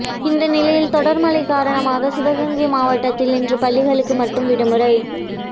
இந்த நிலையில் தொடர் மழை காரணமாக சிவகங்கை மாவட்டத்தில் இன்று பள்ளிகளுக்கு மட்டும் விடுமுறை